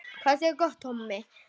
Hætt við vegna neyðarástands